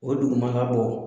O dugumana bɔ